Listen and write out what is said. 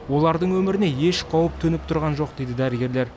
олардың өміріне еш қауіп төніп тұрған жоқ дейді дәрігерлер